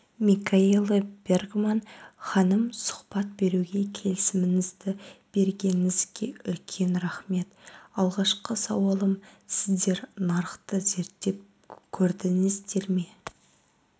микаэла бергман ханым сұхбат беруге келісіміңізді бергеніңізге үлкен рахмет алғашқы сауалым сіздер нарықты зерттеп көрдіңіздер ме